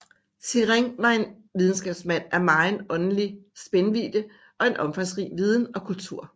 Sirén var en videnskabsmand af megen åndelig spændvidde og omfangsrig viden og kultur